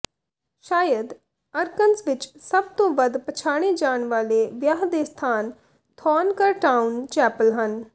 ਸ਼ਾਇਦ ਅਰਕਨੰਸ ਵਿੱਚ ਸਭ ਤੋਂ ਵੱਧ ਪਛਾਣੇ ਜਾਣ ਵਾਲੇ ਵਿਆਹ ਦੇ ਸਥਾਨ ਥੋਰਨਕਰਟਾਊਨ ਚੈਪਲ ਹਨ